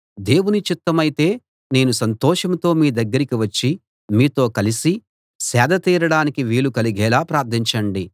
దేవుని చిత్తమైతే నేను సంతోషంతో మీ దగ్గరికి వచ్చి మీతో కలిసి సేద దీరడానికి వీలు కలిగేలా ప్రార్ధించండి